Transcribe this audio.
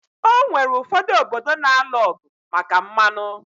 Onwere ụfọdụ obodo na-alụ ọgụ maka mmanụ